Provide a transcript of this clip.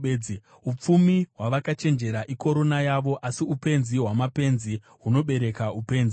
Upfumi hwavakachenjera ikorona yavo, asi upenzi hwamapenzi hunobereka upenzi.